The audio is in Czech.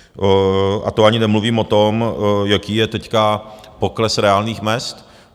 A to ani nemluvím o tom, jaký je teď pokles reálných mezd.